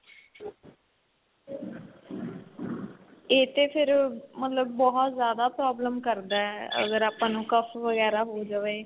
ਏ ਤੇ ਫ਼ਿਰ ਮਤਲਬ ਬਹੁਤ ਜਿਆਦਾ problem ਕਰਦਾ ਅਗਰ ਆਪਾਂ ਨੂੰ ਵਗੈਰਾ ਹੋ ਜਵੇ.